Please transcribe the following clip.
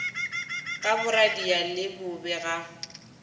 ka boradia le bobe ga